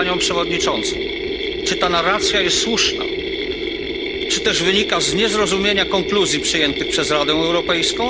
więc Panią Przewodniczącą, czy ta narracja jest słuszna, czy też wynika z niezrozumienia konkluzji przyjętych przez Radę Europejską?